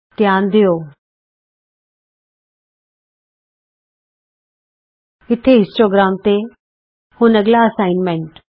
ਧਿਆਨ ਦਿਉ ਇਥੇ ਹਿਸਟੋਗ੍ਰਾਮ ਤੇ ਹੁਣ ਅੱਗਲਾ ਅਸਾਈਨਮੈਂਟ